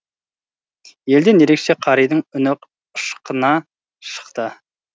елден ерекше қаридың үні ышқына шықты